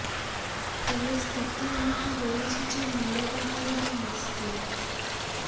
ହେଲେ ସ୍ଥିତି ଏମିତି ହୋଇଛି ଯେ ମୁଳ ବାହାରିବା ମୁସ୍କିଲ୍